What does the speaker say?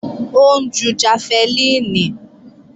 Ó ń ju jafẹlíìnì